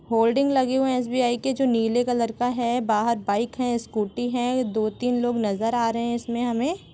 Holding लगे हुए है एस.बी.आई के जो नीले कलर का है बाहर बाइक है स्कूटी है दो तीन लोग नजर आ रहे हैं इसमें हमें।